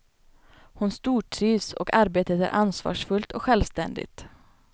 Hon stortrivs och arbetet är ansvarsfullt och självständigt.